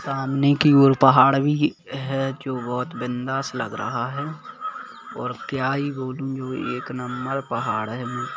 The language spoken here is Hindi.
सामने की ओर पहाड़ भी है जो बहुत बिंदास लग रहा है और क्या ही बोलू वो एक नंबर पहाड़ है।